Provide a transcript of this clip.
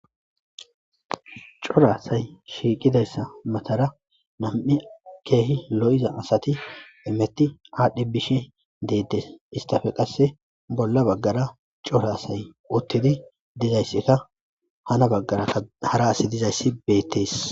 Cora asay shiiqidayssa matara nam'i keehi lo'iza asati hemeti aadhi bishe deetes istappe qasse bolla bagara cora asay uttidi dizayssikka hana bagarakka hara asi dizayssi beetees.